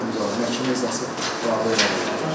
Qarşımdakı məhkəmə zalı qərarı qəbul elədi.